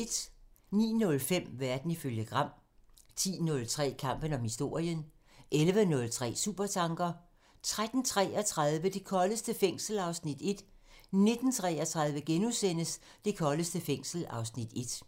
09:05: Verden ifølge Gram 10:03: Kampen om historien 11:03: Supertanker 13:33: Det koldeste fængsel (Afs. 1) 19:33: Det koldeste fængsel (Afs. 1)*